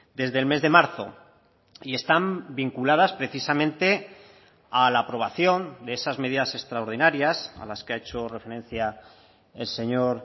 desde el mes de marzo y están vinculadas precisamente a la aprobación de esas medidas extraordinarias a las que ha hecho referencia el señor